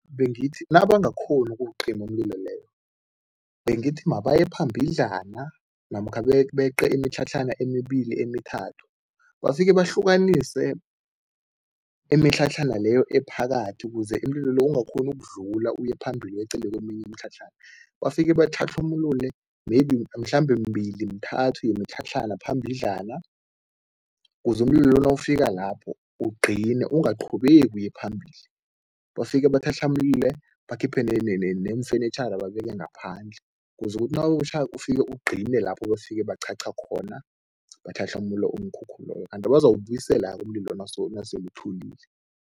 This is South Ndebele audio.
Bengithi nabangakghoni ukuwucima umlilo leyo, bengithi mabaye phambidlana namkha beqe imitlhatlhana emibili emithathu, bafike bahlukanise imitlhatlhana leyo ephakathi ukuze umililo lo ungakghoni ukudlula uye phambili weqele keminye imitlhatlhana. Bafike batlhatlhamulule maybe mhlambe mibili mithathu yemitlhatlhana phambidlana ukuze umlilo lo nawufika lapho ugcine, ungaqhubeki uye phambili. Bafike batlhatlhamulule, bakhiphe neemfenitjhara babeke ngaphandle ukuze ukuthi nakutjhako ufike ugcine lapho bafike baqhaqha khona, batlhatlhamula umkhukhu loyo, kanti bazawubuyisela-ke umlilo nawusele uthulile.